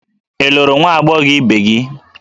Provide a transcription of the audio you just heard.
Ị lụrụ nwa agbọghọ ibe gị?